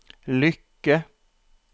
lykke